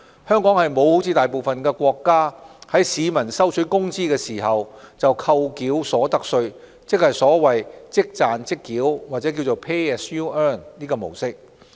香港沒有像大部分國家般，在市民收取工資時便扣繳所得稅，即所謂"即賺即繳"的模式。